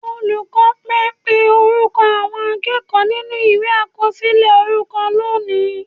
Olùkọ́ pẹ́ pé orúkọ àwọn akẹ́kọ̀ọ́ nínú Ìwé àkọsílẹ̀ orúkọ lónìí